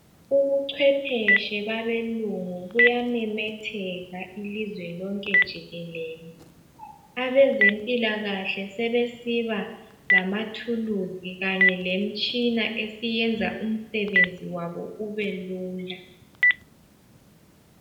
Ubuchwephetshe babelungu buyamemetheka ilizwe lonke jikelele abezempilakahle sebesiba lamathuluzi kanye lemitshina esiyenza umsebenzi wabo ubelula.